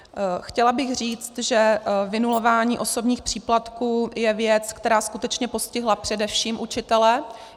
Chtěla bych říct, že vynulování osobních příplatků je věc, která skutečně postihla především učitele.